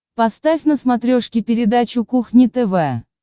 поставь на смотрешке передачу кухня тв